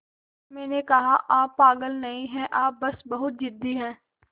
मैंने कहा आप पागल नहीं हैं आप बस बहुत ज़िद्दी हैं